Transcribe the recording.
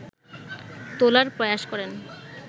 তোলার প্রয়াস করেন